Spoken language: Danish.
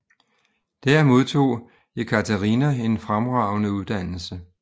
Der modtog Jekatarina en fremragende uddannelse